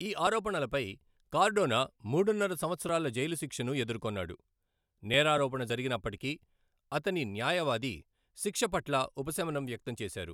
ఈ ఆరోపణలపై కార్డోనా మూడున్నర సంవత్సరాల జైలు శిక్షను ఎదుర్కొన్నాడు, నేరారోపణ జరిగినప్పటికీ, అతని న్యాయవాది శిక్ష పట్ల ఉపశమనం వ్యక్తం చేశారు.